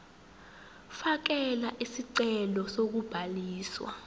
fakela isicelo sokubhaliswa